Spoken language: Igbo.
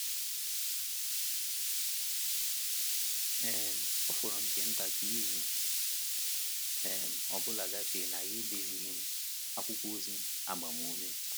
um Ọ fọrọ nke nta ka izu um ọ bụla gafee na ya edezighị m akwụkwọ ozi agbamume.